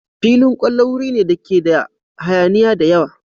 Filin kwallo wuri ne dake da hayaniya da yawa.